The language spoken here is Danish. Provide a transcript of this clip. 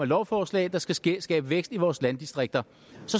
lovforslag der skal skal skabe vækst i vores landdistrikter